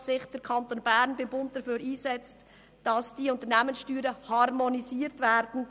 Wir wollen, dass sich der Kanton Bern beim Bund dafür einsetzt, dass die Unternehmenssteuern harmonisiert werden.